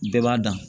Bɛɛ b'a dan